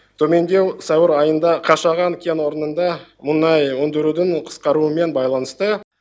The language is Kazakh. төмендеу сәуір айында қашаған кен орнында мұнай өндірудің қысқаруымен байланысты